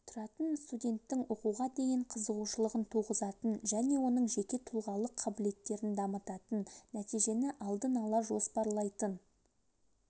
тұратын студенттің оқуға деген қызығушылығын туғызатын және оның жеке тұлғалық қабілеттерін дамытатын нәтижені алдын-ала жоспарлайтын